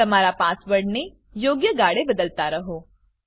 તમારા પાસવર્ડને યોગ્ય ગાળે બદલતા રહો